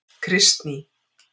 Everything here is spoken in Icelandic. Kristný